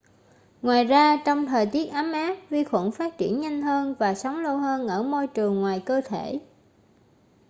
ngoài ra trong thời tiết ấm áp vi khuẩn phát triển nhanh hơn và sống lâu hơn ở môi trường ngoài cơ thể